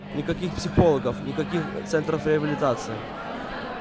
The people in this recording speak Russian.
никаких психологов никаких центров реабилитации